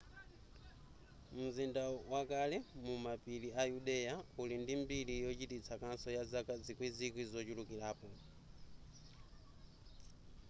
mzinda wakale mumapiri a yudea uli ndi mbiri yochititsa kaso ya zaka zikwizikwi zochulukirapo